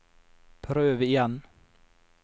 prøv igjen